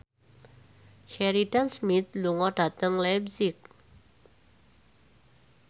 Sheridan Smith lunga dhateng leipzig